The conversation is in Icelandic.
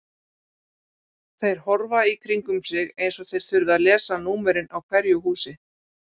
Þeir horfa í kringum sig eins og þeir þurfi að lesa númerin á hverju húsi.